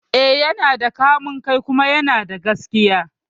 Eh, yana da kamun kai kuma yana da gaskiya